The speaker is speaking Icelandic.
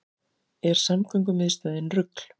Er samgöngumiðstöðin rugl